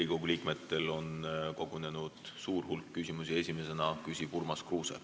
Riigikogu liikmetel on kogunenud suur hulk küsimusi ja esimesena küsib Urmas Kruuse.